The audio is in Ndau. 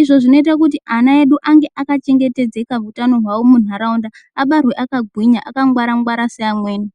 izvo zvinoita kuti ana edu ange akachengetedzeka hutano hwawo muntaraunda abarwe akagwinya akangwara ngwara seamweni.